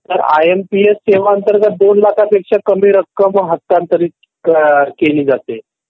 तर I M P S सेवा अंतर्गत दोन लाखापेक्षा कमी रक्कम हस्तांतरित केली जाते.